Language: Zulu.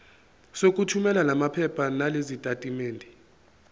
sokuthumela lamaphepha nalezitatimendi